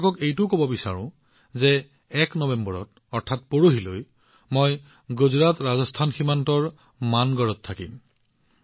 মই আপোনালোকক এইটোও কব বিচাৰো যে ১ নৱেম্বৰত অৰ্থাৎ কাইলৈৰ পিছদিনা মই গুজৰাটৰাজস্থানৰ সীমান্তৰ মানগড়ত উপস্থিত থাকিম